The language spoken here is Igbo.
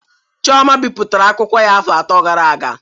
Chioma bipụtara akwụkwọ ya afọ atọ gara aga